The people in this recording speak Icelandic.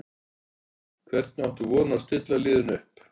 Hvernig áttu von á að stilla liðinu upp?